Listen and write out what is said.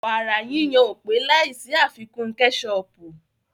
Wàrà yíyon ò pé láì sí àfikún kẹ́sọọ̀pù